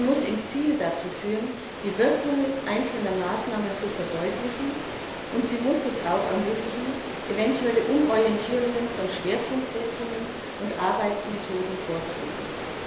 Sie muss im Ziel dazu führen, die Wirkungen einzelner Maßnahmen zu verdeutlichen, und sie muss es auch ermöglichen, eventuelle Umorientierungen von Schwerpunktsetzungen und Arbeitsmethoden vorzunehmen.